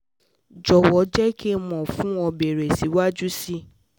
jọ̀wọ́ jẹ́ kí n mọ̀ fún ibeere síwájú sí i